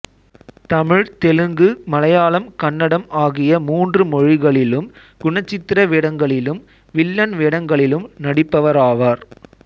தமிழ்தெலுங்குமலையாளம்கன்னடம் ஆகிய மூன்று மொழிகளிலும் குணச்சித்திர வேடங்களிலும்வில்லன் வேடங்களிலும் நடிப்பவராவார்